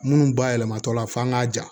Minnu bayɛlɛmatɔ la f'an k'a ja